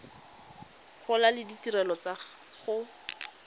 gola le ditirelo tsa go